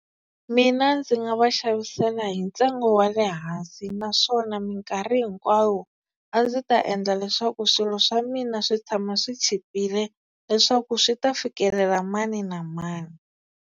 Mina ndzi nga va xavisela hi ntsengo wa le hansi, naswona minkarhi hinkwayo a ndzi ta endla leswaku swilo swa mina swi tshama swi chipile leswaku swi ta fikelela mani na mani.